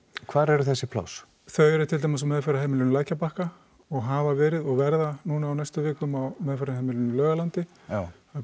hvar eru þessi pláss þau eru til dæmis á meðferðarheimilinu lækjarbakka og hafa verið og verða núna á næstu vikum á meðferðarheimilinu Laugalandi það